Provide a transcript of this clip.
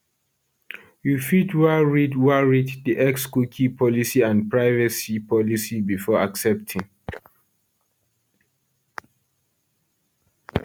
you fit wan read wan read di xcookie policyandprivacy policybefore accepting